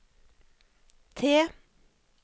T